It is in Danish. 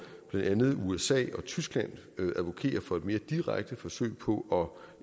blandt andet usa og tyskland advokerer for et mere direkte forsøg på